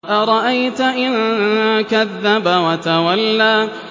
أَرَأَيْتَ إِن كَذَّبَ وَتَوَلَّىٰ